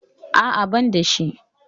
A'a, ban da shi.